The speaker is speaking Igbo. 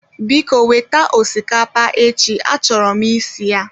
Biko weta osikapa echi a choro m isi ya